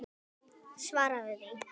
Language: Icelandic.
Svaraðu því.